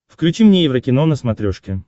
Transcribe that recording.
включи мне еврокино на смотрешке